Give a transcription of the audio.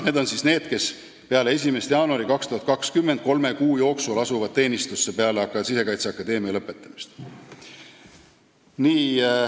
Need on need, kes peale 1. jaanuari 2020 kolme kuu jooksul asuvad teenistusse, peale seda, kui nad on Sisekaitseakadeemia lõpetanud.